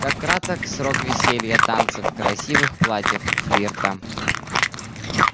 как краток срок веселья танцев красивых платьев флирта